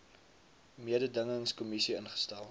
mededingings kommissie ingestel